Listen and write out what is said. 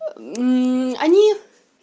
они